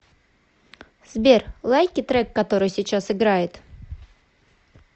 сбер лайки трек который сейчас играет